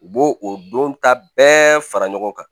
U b'o o don ta bɛɛ fara ɲɔgɔn kan